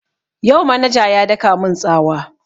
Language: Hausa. Yau manaja ya daka mun tsawa